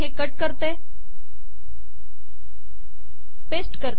हे कट करू आणि पेस्ट करू